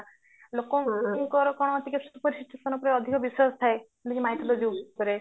ଲୋକଙ୍କର ଟିକେ ଅଧିକ ବିଶ୍ଵାସ ଥାଏ mycology ଉପରେ